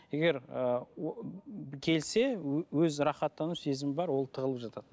егер ыыы келсе өз рахаттану сезімі бар ол тығылып жатады